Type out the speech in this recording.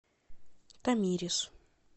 тамирис